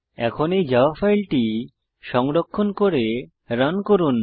এখন এই জাভা ফাইলটি সংরক্ষণ করে রান করুন